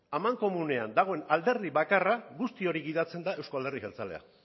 amankomunean dagoen alderdi bakarra guzti hori gidatzen da euzko alderdi jeltzalea